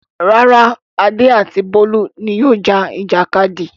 Rárá, Adé àti Bólú ni yóò ja ìjàkadì.